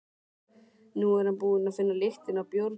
Nú er hann búinn að finna lyktina af bjórnum.